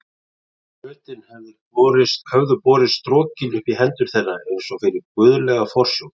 Fötin höfðu borist strokin upp í hendur þeirra eins og fyrir guðlega forsjón.